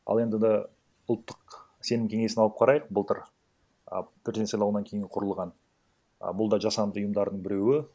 ал енді ұлттық сенім кеңесін алып қарайық былтыр а президент сайлауынан кейін құрылған а бұлда жасанды ұйымдардың біреуі